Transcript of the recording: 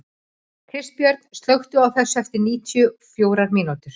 Kristbjörn, slökktu á þessu eftir níutíu og fjórar mínútur.